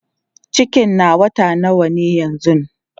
cikin na wata nawa yanzun?